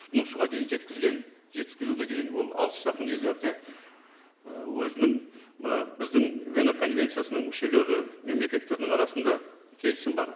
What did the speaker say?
тұтынушыға дейін жеткізген жеткізуге деген ол алыс жақын иелерде і өзінің мына біздің вена конвенциясының мүшелері мемлекеттердің арасында келісім бар